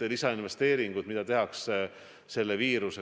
väljumise strateegiast?